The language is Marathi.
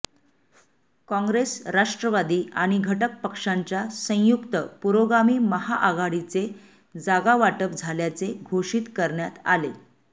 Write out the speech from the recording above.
काँग्रेस राष्ट्रवादी आणि घटक पक्षांच्या संयुक्त पुरोगामी महाआघाडीचे जागावाटप झाल्याचे घोषीत करण्यात आले